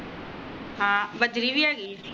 ਹਾਂ ਬਜਰੀ ਵ੍ਹੇਗੀ ਆ